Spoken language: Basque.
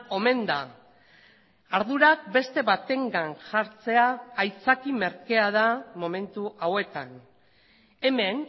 omen da ardurak beste batengan jartzea aitzaki merkea da momentu hauetan hemen